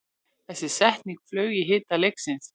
Þessi setning flaug í hita leiksins